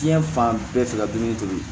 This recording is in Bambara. Diɲɛ fan bɛɛ fɛ ka dumuni tobi